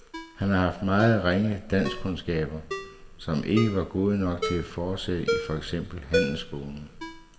Han har haft meget ringe danskkundskaber, som ikke var gode nok til at fortsætte i for eksempel handelsskolen.